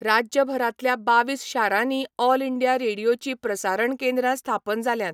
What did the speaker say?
राज्यभरांतल्या बावीस शारांनी All India रेडिओचीं प्रसारण केंद्रां स्थापन जाल्यांत.